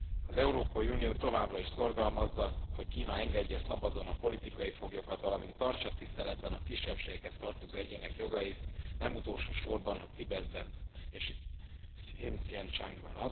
Az Európai Unió továbbra is szorgalmazza, hogy Kína engedje szabadon a politikai foglyokat, valamint tartsa tiszteletben a kisebbségekhez tartozó egyének jogait, nem utolsó sorban Tibetben és Hszincsiangban.